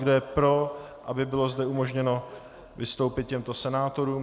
Kdo je pro, aby zde bylo umožněno vystoupit těmto senátorům?